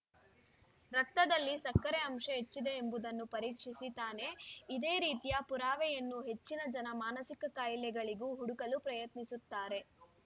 ರಕ್ತದಲ್ಲಿ ಸಕ್ಕರೆ ಅಂಶ ಹೆಚ್ಚಿದೆ ಎಂಬುದನ್ನು ಪರೀಕ್ಷಿಸಿ ತಾನೆ ಇದೇ ರೀತಿಯ ಪುರಾವೆಯನ್ನು ಹೆಚ್ಚಿನ ಜನ ಮಾನಸಿಕ ಕಾಯಿಲೆಗಳಿಗೂ ಹುಡುಕಲು ಪ್ರಯತ್ನಿಸುತ್ತಾರೆ